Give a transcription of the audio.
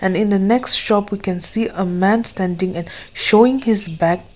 and in the next shop you can see a man standing and showing his bag.